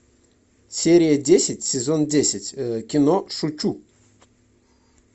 серия десять сезон десять кино шучу